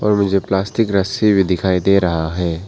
मुझे प्लास्टिक रस्सी भी दिखाई दे रहा है।